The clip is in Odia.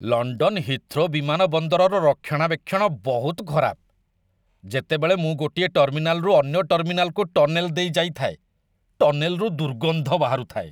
ଲଣ୍ଡନ ହିଥ୍ରୋ ବିମାନ ବନ୍ଦରର ରକ୍ଷଣାବେକ୍ଷଣ ବହୁତ ଖରାପ। ଯେତେବେଳେ ମୁଁ ଗୋଟିଏ ଟର୍ମିନାଲରୁ ଅନ୍ୟ ଟର୍ମିନାଲକୁ ଟନେଲ୍ ଦେଇ ଯାଇଥାଏ, ଟନେଲ୍‌ରୁ ଦୁର୍ଗନ୍ଧ ବାହାରୁଥାଏ।